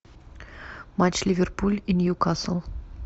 матч ливерпуль и ньюкасл